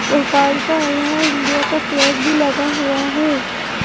भोपाल का यहां इंडिया का फ्लैग भी लगा हुआ है.